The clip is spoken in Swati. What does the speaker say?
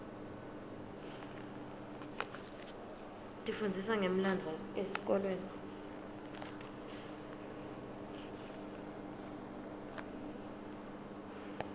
tifundzisa ngemlandvo esikolweni